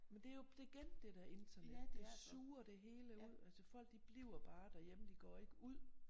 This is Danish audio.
Men det jo det igen det dér internet det suger det hele ud altså folk de bliver bare derhjemme de går ikke ud